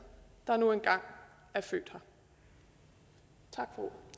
der nu engang er født her